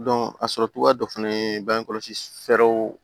a sɔrɔ cogoya dɔ fɛnɛ ye bangekɔsi fɛɛrɛw